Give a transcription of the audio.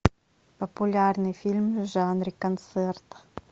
популярный фильм в жанре концерт